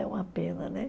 É uma pena, né?